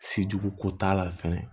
Se jugu ko t'a la fɛnɛ